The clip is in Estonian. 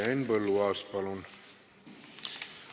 Henn Põlluaas, palun!